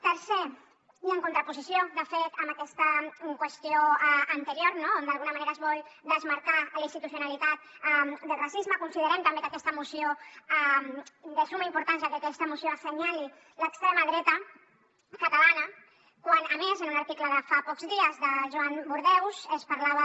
tercer i en contraposició de fet amb aquesta qüestió anterior no on d’alguna manera es vol desmarcar la institucionalitat del racisme considerem també de summa importància que aquesta moció assenyali l’extrema dreta catalana quan a més en un article de fa pocs dies de joan burdeus es parlava